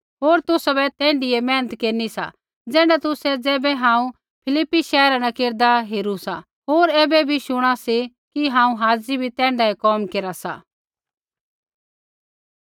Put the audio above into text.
होर तुसाबै तैण्ढीऐ मेहनत केरनी सा ज़ैण्ढा तुसै ज़ैबै हांऊँ फिलिप्पी शैहरा न केरदा हेरू सा होर ऐबै भी शुणा सी कि हांऊँ हाज़ी भी तैण्ढाऐ कोम केरा सा